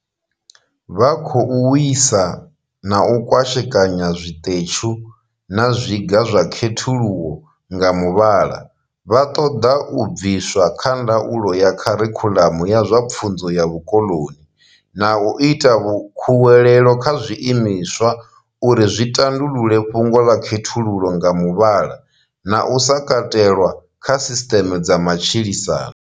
Vha khou wisa na u kwashekanya zwiṱetshu na zwiga zwa khethululo nga muvhala, vha ṱoḓa u bviswa kha ndaulo ya kharikhuḽamu ya zwa pfunzo ya vhukoḽoni, na u ita khuwelelo kha zwiimiswa uri zwi tandulule fhungo ḽa khethululo nga muvhala na u sa katelwa kha sisṱeme dza matshilisano.